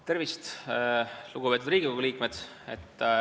Tervist, lugupeetud Riigikogu liikmed!